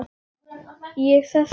Ég sest upp.